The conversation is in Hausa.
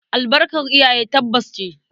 Albarkar iyaye tabbas ce.